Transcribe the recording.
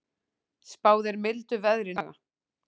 Spáð er mildu veðri næstu daga